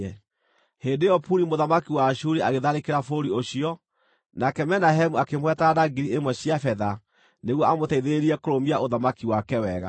Hĩndĩ ĩyo Puli mũthamaki wa Ashuri agĩtharĩkĩra bũrũri ũcio, nake Menahemu akĩmũhe taranda ngiri ĩmwe cia betha nĩguo amũteithĩrĩrie kũrũmia ũthamaki wake wega.